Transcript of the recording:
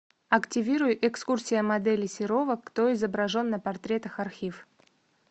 активируй экскурсия модели серова кто изображен на портретах архив